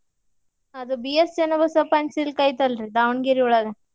ಅದು BS channabasappa and silk ಐತೆಲ್ರೀ ದಾವಣಗೆರೆ ಒಳ್ಗ.